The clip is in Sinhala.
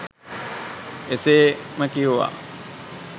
එසේම වේවා